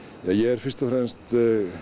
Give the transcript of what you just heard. ég er fyrst og fremst